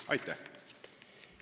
Aitäh!